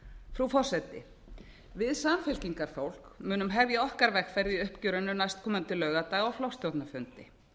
frú forseti við samfylkingarfólk munum hefja okkar vegferð í uppgjörinu næstkomandi laugardag á flokksstjórnarfundi